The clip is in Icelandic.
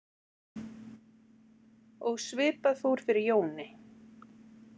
Og svipað fór fyrir Jóni.